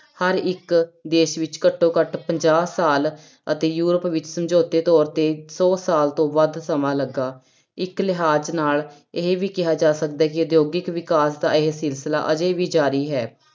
ਹਰ ਇੱਕ ਦੇਸ ਵਿੱਚ ਘੱਟੋ ਘੱਟ ਪੰਜਾਹ ਸਾਲ ਅਤੇ ਯੂਰਪ ਵਿੱਚ ਸਮਝੌਤੇ ਤੌਰ ਤੇ ਸੌ ਸਾਲ ਤੋਂ ਵੱਧ ਸਮਾਂ ਲੱਗਾ, ਇੱਕ ਲਿਹਾਜ ਨਾਲ ਇਹ ਵੀ ਕਿਹਾ ਜਾ ਸਕਦਾ ਹੈ ਕਿ ਉਦਯੋਗਿਕ ਵਿਕਾਸ ਦਾ ਇਹ ਸਿਲਸਿਲਾ ਅਜੇ ਵੀ ਜ਼ਾਰੀ ਹੈ,